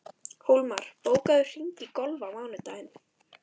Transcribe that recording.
Hólmar, bókaðu hring í golf á mánudaginn.